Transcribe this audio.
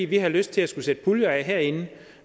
vi har lyst til at sætte puljer af herinde